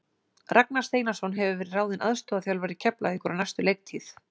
Ragnar Steinarsson hefur verið ráðinn aðstoðarþjálfari Keflavíkur á næstu leiktíð.